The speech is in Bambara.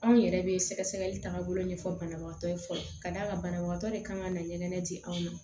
Anw yɛrɛ bɛ sɛgɛsɛgɛli taaga bolo ɲɛfɔ banabagatɔ ye fɔlɔ ka d'a kan banabagatɔ de kan ka ɲɛgɛn di aw ma